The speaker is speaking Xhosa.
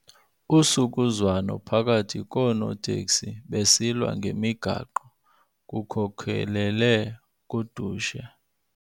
Usukuzwano phakathi koonoteksi besilwa ngemigaqo kukhokelele kudushe.